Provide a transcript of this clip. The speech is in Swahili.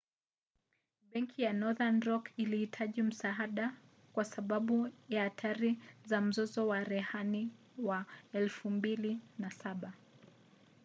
benki ya northern rock ilihitaji msaada kwa sababu ya hatari za mzozo wa rehani wa 2007